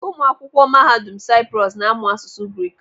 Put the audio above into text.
Ụmụ akwụkwọ Mahadum Saịprọs na-amụ asụsụ Grik.